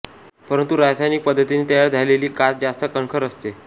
परंतु रासायनिक पद्धतीने तयार झालेली काच जास्त कणखर असते